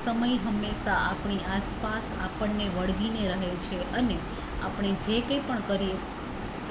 સમય હંમેશા આપણી આસપાસ આપણને વળગીને રહે છે અને આપણે જે કઈ પણ કરીએ